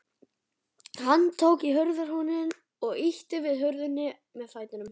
Hann tók í hurðarhúninn og ýtti við hurðinni með fætinum.